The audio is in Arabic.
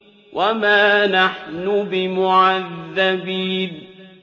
وَمَا نَحْنُ بِمُعَذَّبِينَ